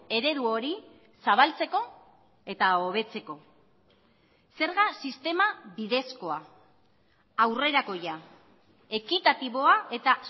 eredu hori zabaltzeko eta hobetzeko zerga sistema bidezkoa aurrerakoia ekitatiboa eta